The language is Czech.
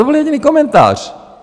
To byl jediný komentář.